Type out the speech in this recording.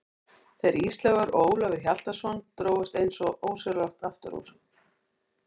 Þeir Ísleifur og Ólafur Hjaltason drógust eins og ósjálfrátt aftur úr.